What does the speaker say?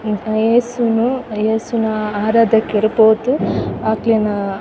ಏಸುನು ಏಸುನ ಆರಾಧೆಕೆರ್ ಪೋದು ಅಕ್ಲೆನ --